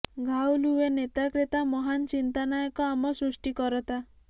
ଘାଉଲ ହୁଏ ନେତା କ୍ରେତା ମହାନ ଚିନ୍ତାନାୟକ ଆମ ସୃଷ୍ଟିକରତା